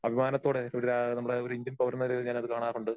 അഭിമാനത്തോടെ ഇവിടെ ആ ഒരു ഇന്ത്യൻ പൗരന് ഞാൻ അത് കാണാറുണ്ട്.